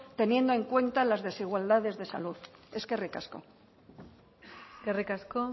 teniendo en cuenta las desigualdades de salud eskerrik asko eskerrik asko